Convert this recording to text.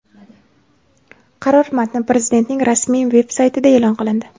Qaror matni Prezidentning rasmiy veb-saytida e’lon qilindi .